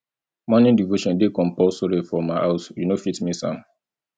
morning devotion dey compusory for my house you no fit miss am